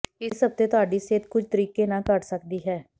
ਇਸ ਹਫਤੇ ਤੁਹਾਡੀ ਸਿਹਤ ਕੁਝ ਤਰੀਕੇ ਨਾਲ ਘੱਟ ਸਕਦੀ ਹੈ